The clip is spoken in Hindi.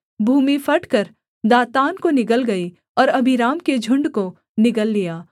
भूमि फटकर दातान को निगल गई और अबीराम के झुण्ड को निगल लिया